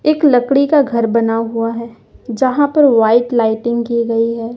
एक लकड़ी का घर बना हुआ है जहां पर व्हाइट लाइटिंग की गई है।